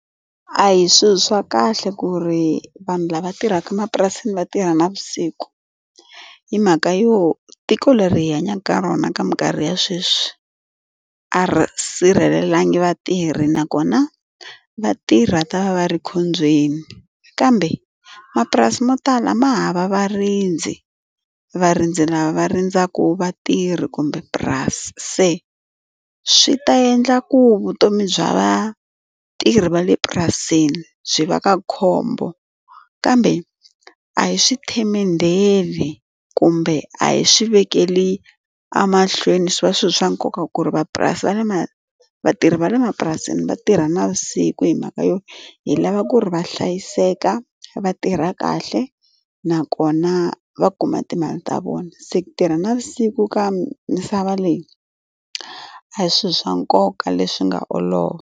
A hi swilo swa kahle ku ri vanhu lava tirhaka emapurasini va tirha navusiku. Hi mhaka yo tiko leri hi hanyaka ka rona ka minkarhi ya sweswi, a ri sirhelelangi vatirhi nakona vatirhi va ta va va ri ekhombyeni. Kambe mapurasi mo tala ma hava varindzi, varindzi lava va rindzaka vatirhi kumbe purasi. Se swi ta endla ku vutomi bya vatirhi va le purasini byi va ka khombo. Kambe a hi swi tshemendheli kumbe a hi swi vekeli emahlweni swi va swi ri swa nkoka ku ri va le vatirhi va le mapurasini va tirha navusiku hi mhaka yona, hi lava ku ri va hlayiseka, va tirha kahle, nakona va kuma timali ta vona. Se ku tirha navusiku ka misava leyi, a hi swilo swa nkoka leswi nga olova.